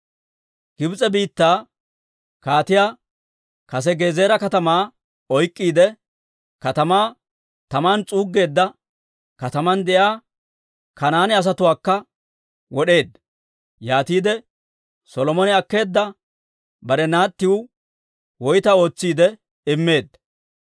Gibs'e biittaa Kaatii kase Gezeera katamaa oyk'k'iide katamaa taman s'uuggeedda. Kataman de'iyaa Kanaane asatuwaakka wod'eedda; yaatiide Solomone akkeedda bare naattiw woytaa ootsiide immeedda;